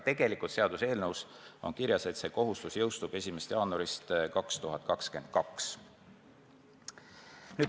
Tegelikult on seaduseelnõus kirjas, et see kohustus jõustub 1. jaanuaril 2022.